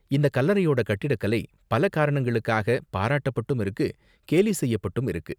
இந்த கல்லறையோட கட்டிடக்கலை பல காரணங்களுக்காக பாராட்டப்பட்டும் இருக்கு கேலி செய்யப்பட்டும் இருக்கு.